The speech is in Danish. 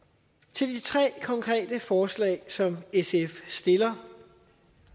til de tre konkrete forslag som sf stiller